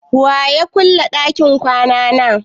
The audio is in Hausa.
Wa ya ƙulle ɗakin kwana na?